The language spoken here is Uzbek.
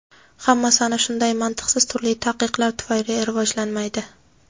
Hammasi ana shunday mantiqsiz turli taqiqlar tufayli rivojlanmaydi.